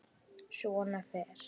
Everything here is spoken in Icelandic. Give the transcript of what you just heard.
Svona fer.